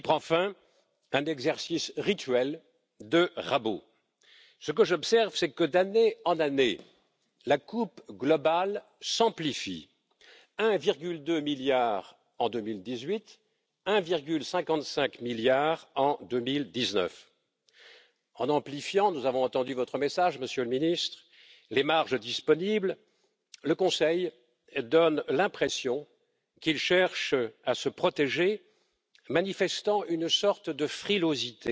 plus utilement. Ainsi serait démontrée ce que peut être la valeur ajoutée européenne.